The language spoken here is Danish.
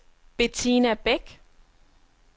Bettina Bæk